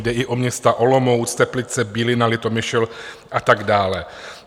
Jde i o města Olomouc, Teplice, Bílina, Litomyšl a tak dále.